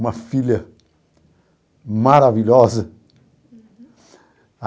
Uma filha maravilhosa. Uhum.